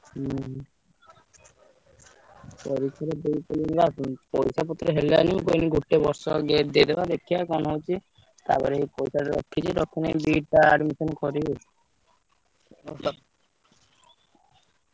ହୁଁ। ପରିକ୍ଷାଟା ଦେଇ ପଇସା ପତ୍ର ହେଲାନି ମୁଁ କହିଲି ଗୋଟେ ବର୍ଷ gap ଦେଇଦବା ଦେଖିଆ କଣ ହଉଛି। ତାପରେ ପଇସା ତ ରଖିଛି ପ୍ରଥମେ B.Ed ଟା admission କରିବି। ଆଉତ